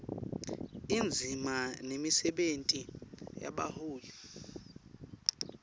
indzima nemisebenti yebaholi